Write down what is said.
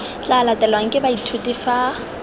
tla latelwang ke baithuti fa